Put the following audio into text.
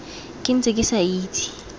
ke ntse ke sa itse